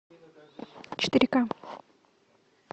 четыре ка